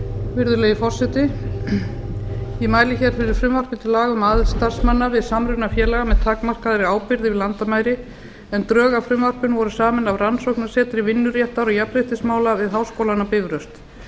virðulegi forseti ég mæli hér fyrir frumvarpi til laga um aðild starfsmanna við samruna félaga með takmarkaðri ábyrgð yfir landamæri en drög að frumvarpinu voru samin af rannsóknasetri vinnuréttar og jafnréttismála við háskólann á bifröst